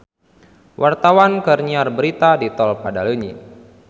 Wartawan keur nyiar berita di Tol Padaleunyi